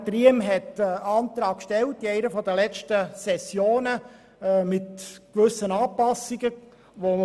Riem hat während einer der letzten Sessionen einen Antrag auf gewisse Anpassungen gestellt.